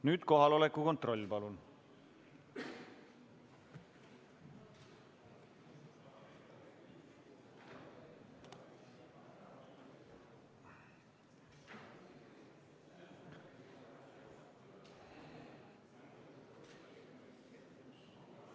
Nüüd kohaloleku kontroll, palun!